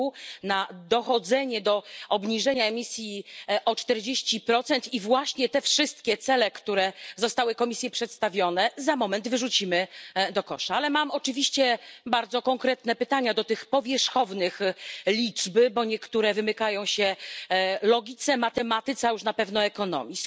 r. na dążenie do obniżenia emisji o 40, a te wszystkie cele, które zostały Komisji przedstawione, za moment wyrzucimy do kosza. Ale mam oczywiście bardzo konkretne pytania do tych powierzchownych liczb, bo niektóre wymykają się logice, matematyce, a już na pewno ekonomii.